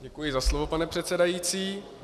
Děkuji za slovo, pane předsedající.